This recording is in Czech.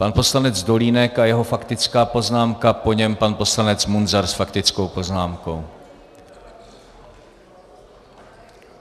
Pan poslanec Dolínek a jeho faktická poznámka, po něm pan poslanec Munzar s faktickou poznámkou.